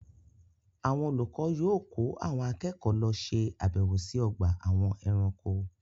Àwọn olùkọ yóò kó àwọn akẹ́kọ̀ọ́ lọ ṣe àbẹ̀wò sí ọgbà àwọn ẹranko.